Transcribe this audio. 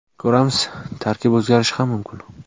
Ko‘ramiz, tarkib o‘zgarishi ham mumkin.